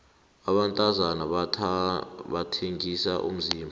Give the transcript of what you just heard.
abantazana bathengisa umzimba